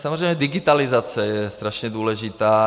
Samozřejmě digitalizace je strašně důležitá.